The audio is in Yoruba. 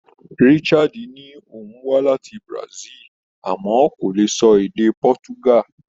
Richard ní òun wá láti Brazil àmọ́ kò lè sọ èdè Portugal.